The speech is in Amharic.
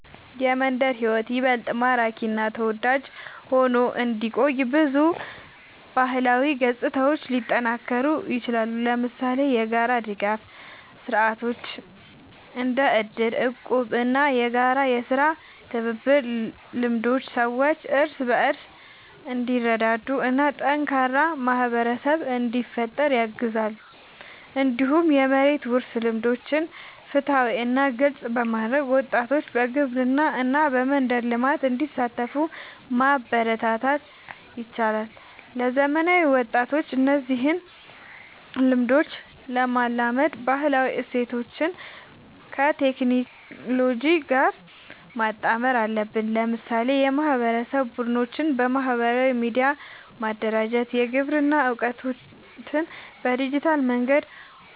የመንደር ሕይወት ይበልጥ ማራኪ እና ተወዳጅ ሆኖ እንዲቆይ ብዙ ባህላዊ ገጽታዎች ሊጠናከሩ ይችላሉ። ለምሳሌ የጋራ ድጋፍ ስርዓቶች እንደ እድር፣ እቁብ እና የጋራ የሥራ ትብብር ልምዶች ሰዎች እርስ በርስ እንዲረዳዱ እና ጠንካራ ማህበረሰብ እንዲፈጠር ያግዛሉ። እንዲሁም የመሬት ውርስ ልምዶችን ፍትሃዊ እና ግልጽ በማድረግ ወጣቶች በግብርና እና በመንደር ልማት እንዲሳተፉ ማበረታታት ይቻላል። ለዘመናዊ ወጣቶች እነዚህን ልምዶች ለማላመድ ባህላዊ እሴቶችን ከቴክኖሎጂ ጋር ማጣመር አለብን። ለምሳሌ የማህበረሰብ ቡድኖችን በማህበራዊ ሚዲያ ማደራጀት፣ የግብርና እውቀትን በዲጂታል መንገድ